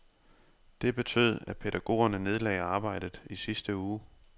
Det betød, at pædagogerne nedlagde arbejdet i sidste uge.